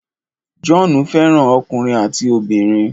John fẹ́ràn ọkùnrin àti obìnrin.